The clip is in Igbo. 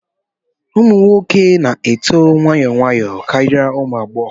Ụmụ nwoke na-eto nwayọọ nwayọọ karịa ụmụ agbọghọ